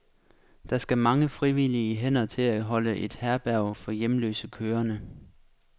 Der skal mange frivillige hænder til at holde et herberg for hjemløse kørende.